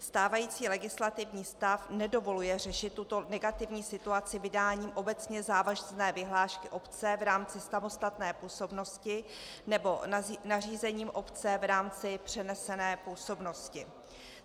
Stávající legislativní stav nedovoluje řešit tuto negativní situaci vydáním obecně závazné vyhlášky obce v rámci samostatné působnosti nebo nařízením obce v rámci přenesené působnosti.